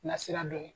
Na sira dɔ ye